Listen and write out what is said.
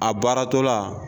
A baaratɔla